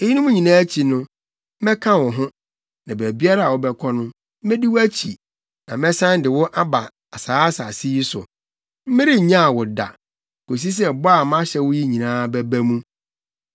Eyinom nyinaa akyi no, mɛka wo ho, na baabiara a wobɛkɔ no, medi wʼakyi, na mɛsan de wo aba saa asase yi so. Merennyaw wo da, kosi sɛ bɔ a mahyɛ wo yi nyinaa bɛba mu.”